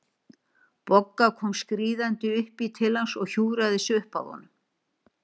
Bogga kom skríðandi upp í til hans og hjúfraði sig upp að honum.